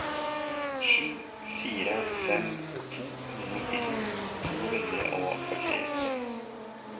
sju fire fem to nittito to hundre og førtiseks